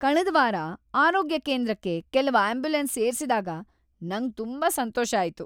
ಕಳ್ದ ವಾರ ಆರೋಗ್ಯ ಕೇಂದ್ರಕ್ಕೆ ಕೆಲವ್ ಆಂಬ್ಯುಲೆನ್ಸ್ ಸೇರ್ಸಿದಾಗ್ ನಂಗ್ ತುಂಬಾ ಸಂತೋಷ ಆಯ್ತು.